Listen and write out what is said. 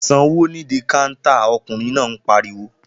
Sanwó nídí káńtà! Ọkùnrin náà pariwo